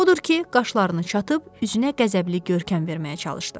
Odur ki, qaşlarını çatıb üzünə qəzəbli görkəm verməyə çalışdı.